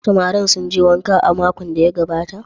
Samarin sun je wanka a makon da ya gabata?